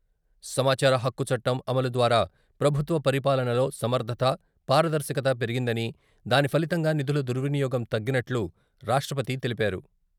సమాచార హక్కు చట్టం అమలు ద్వారా ప్రభుత్వ పరిపాలనలో సమర్ధత, పారదర్శకత పెరిగిందని, దాని ఫలితంగా నిధుల దుర్వినియోగం తగ్గినట్లు రాష్ట్రపతి తెలిపారు.